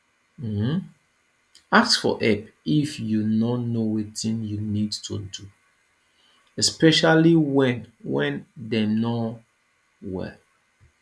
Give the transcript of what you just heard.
um ask for help if you no know wetin you need to do especially when when dem no well